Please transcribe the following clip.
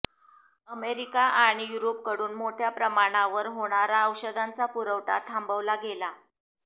America आणि युरोपकडून मोठ्या प्रमाणावर होणारा औषधांचा पुरवठा थांबवला गेला